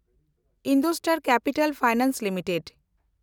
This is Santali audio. IndoStar capital finance limited